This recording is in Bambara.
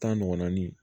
Tan ɲɔgɔnna ni